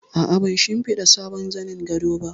A'a, ban shimfiɗa sabon zanin gado ba